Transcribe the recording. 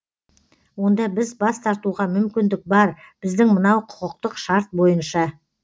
онда біз бас тартуға мүмкіндік бар біздің мынау құқықтық шарт бойынша